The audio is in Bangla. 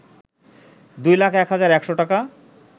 ২ লাখ ১ হাজার ১০০ টাকা